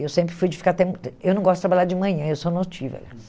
Eu sempre fui de ficar até... Eu não gosto de trabalhar de manhã, eu sou notível.